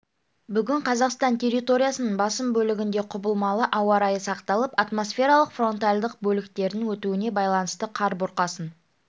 бүгін қазақстан территориясының басым бөлігінде құбылмалы ауа райы сақталып атмосфералық фронтальдық бөліктердің өтуіне байланысты қар бұрқасын